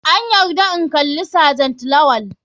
An yarda in kalla sergent lawal.